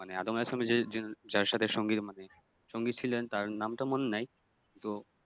মানে আদম আলাহিসাল্লাম যে যে যার সাথে সঙ্গী মানে সঙ্গী ছিলেন তার নামটা মনে নাই তো